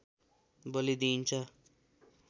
बली दिइन्छ